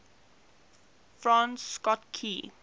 francis scott key